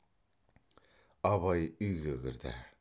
абай үйге кірді